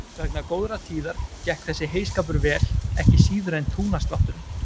Vegna góðrar tíðar gekk þessi heyskapur vel ekki síður en túnaslátturinn.